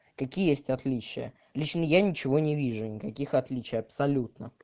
какие есть отличия лично я ничего не вижу никаких отличий абсолютно